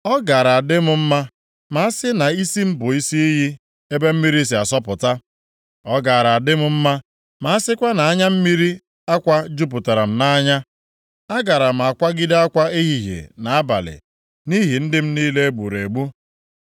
Ọ gaara adị m mma ma a sị na isi m bụ isi iyi, ebe mmiri si asọpụta; ọ gaara adị m mma ma a sịkwa na anya mmiri akwa jupụtara m nʼanya. Agaara m akwagide akwa ehihie na abalị nʼihi ndị m niile e gburu egbu.